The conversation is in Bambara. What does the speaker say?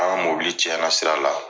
An ka mobili cɛn na sira la.